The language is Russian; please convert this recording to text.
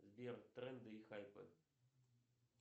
сбер тренды и хайпы